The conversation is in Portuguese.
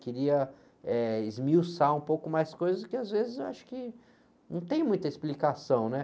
Queria eh, esmiuçar um pouco mais coisas que às vezes eu acho que não tem muita explicação, né?